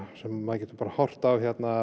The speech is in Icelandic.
sem maður getur horft á